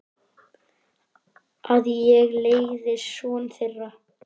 Að ég leiði son þeirra.